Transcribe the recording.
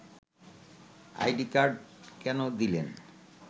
ID card কেন দিলেন